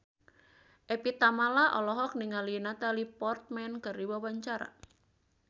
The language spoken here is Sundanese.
Evie Tamala olohok ningali Natalie Portman keur diwawancara